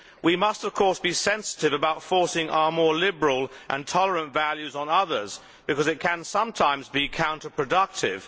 We must, of course, be sensitive about forcing our more liberal and tolerant values on others, because it can sometimes be counterproductive.